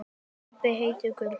Stebbi heitinn Gull.